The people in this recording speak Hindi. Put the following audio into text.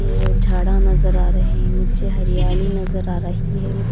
ये झाड़ा नजर आ रही नीचे हरियाली नजर आ रही है।